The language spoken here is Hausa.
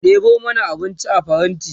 ɗebo mana abinci a faranti!